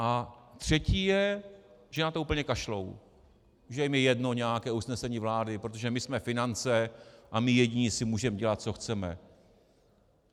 A třetí je, že na to úplně kašlou, že jim je jedno nějaké usnesení vlády, protože my jsme finance a my jediní si můžeme dělat, co chceme.